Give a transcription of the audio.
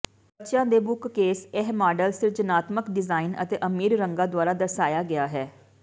ਬੱਚਿਆਂ ਦੇ ਬੁੱਕਕੇਸ ਇਹ ਮਾਡਲ ਸਿਰਜਣਾਤਮਕ ਡਿਜ਼ਾਇਨ ਅਤੇ ਅਮੀਰ ਰੰਗਾਂ ਦੁਆਰਾ ਦਰਸਾਇਆ ਗਿਆ ਹੈ